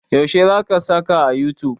Yaushe za ka saka a youtube?